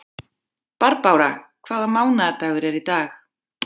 Barbára, hvaða mánaðardagur er í dag?